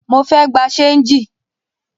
Mo fẹ́ gbà ṣéńjì